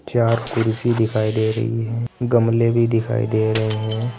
चार कुर्सी दिखाई दे रही है गमले भी दिखाई दे रहे हैं।